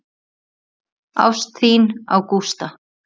Ást þína á Gústa.